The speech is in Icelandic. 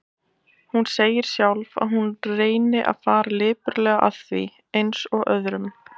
Hún segir sjálf að hún reyni að fara lipurlega að því, eins og öðrum.